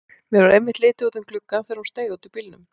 Mér varð einmitt litið út um gluggann þegar hún steig út úr bílnum.